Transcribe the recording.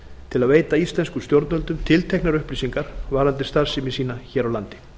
til að veita íslenskum stjórnvöldum tilteknar upplýsingar varðandi starfsemi sína hér á landi